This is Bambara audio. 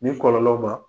Ni kɔlɔlɔ ma